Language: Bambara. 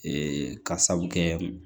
Ee ka sabu kɛ